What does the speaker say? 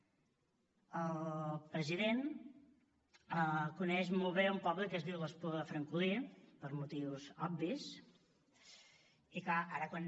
el president coneix molt bé un poble que es diu l’espluga de francolí per motius obvis i clar ara quan